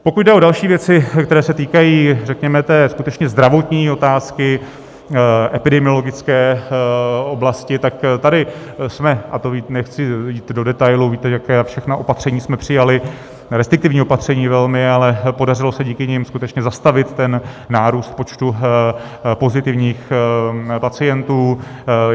Pokud jde o další věci, které se týkají, řekněme, té skutečně zdravotní otázky epidemiologické oblasti, tak tady jsme - a to nechci jít do detailů, víte, jaká všechna opatření jsme přijali, restriktivní opatření velmi, ale podařilo se díky nim skutečně zastavit ten nárůst počtu pozitivních pacientů.